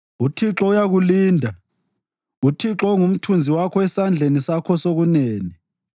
UThixo uyakulinda uThixo ungumthunzi wakho esandleni sakho sokunene;